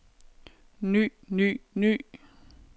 ny ny ny